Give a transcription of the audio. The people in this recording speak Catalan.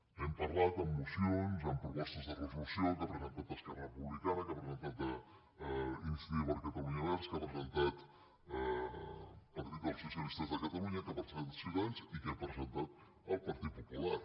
n’hem parlat en mocions en propostes de resolució que ha presentat esquerra republicana que ha presentat iniciativa per catalunya verds que ha presentat el partit dels socialistes de catalunya que ha presentat ciutadans i que ha presentat el partit popular